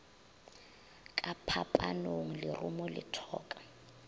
ka phapanong lerumo le thoka